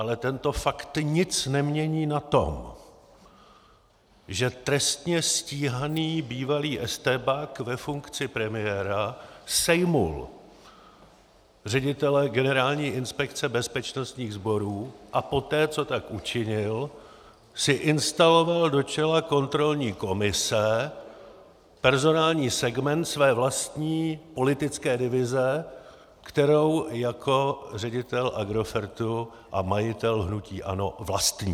Ale tento fakt nic nemění na tom, že trestně stíhaný bývalý estébák ve funkci premiéra sejmul ředitele Generální inspekce bezpečnostních sborů a poté, co tak učinil, si instaloval do čela kontrolní komise personální segment své vlastní politické divize, kterou jako ředitel Agrofertu a majitel hnutí ANO vlastní.